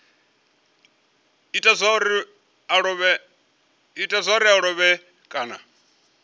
ita zwauri a lovhe kana